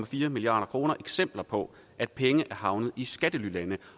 fire milliard kroner eksempler på at penge er havnet i skattelylande